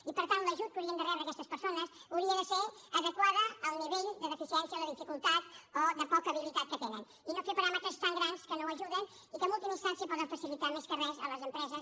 i per tant l’ajut que haurien de rebre aquestes persones hauria de ser adequat al nivell de deficiència o de dificultat o de poca habilitat que tenen i no fer paràmetres tan grans que no ajuden i que en ultima instància poden facilitar més que res a les empreses